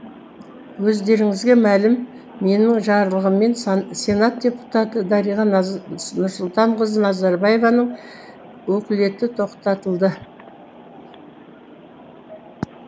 өздеріңізге мәлім менің жарлығыммен сенат депутаты дариға нұрсұлтанқызы назарбаеваның өкілеті тоқтатылды